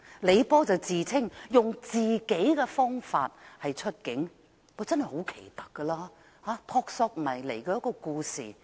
李波自稱"用自己方法出境"，真的很奇特，如一個撲朔迷離的故事。